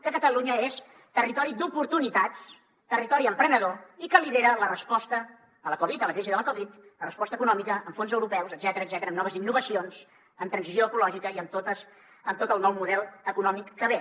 que catalunya és territori d’oportunitats territori emprenedor i que lidera la resposta a la covid a la crisi de la covid la resposta econòmica amb fons europeus etcètera amb noves innovacions amb transició ecològica i amb tot el nou model econòmic que ve